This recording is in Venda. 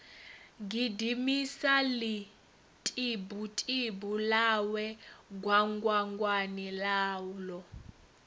gidimisa ḽitibutibu ḽawe gwangwangwani ḽaḽo